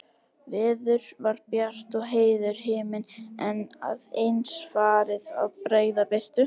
Veður var bjart og heiður himinn, en að eins farið að bregða birtu.